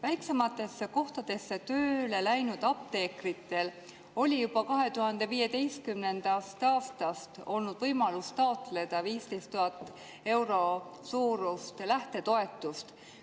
Väiksematesse kohtadesse tööle läinud apteekritel on juba 2015. aastast olnud võimalus taotleda 15 000 euro suurust lähtetoetust.